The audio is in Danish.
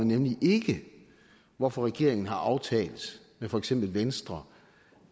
nemlig ikke hvorfor regeringen har aftalt med for eksempel venstre